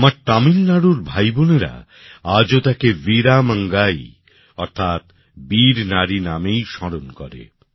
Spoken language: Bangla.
আমার তামিলনাড়ুর ভাই বোনেরা আজও তাঁকে বীরা মঙ্গাই অর্থাৎ বীর নারী নামেই স্মরণ করে